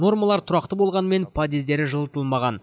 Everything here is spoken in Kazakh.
нормалар тұрақты болғанмен подъездері жылытылмаған